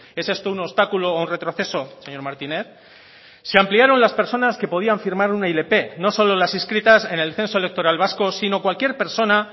es esto un obstáculo o un retroceso señor martínez se ampliaron las personas que podían firmar una ilp no solo las inscritas en el censo electoral vasco sino cualquier persona